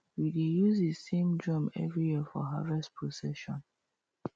we dey use the same drum every year for harvest procession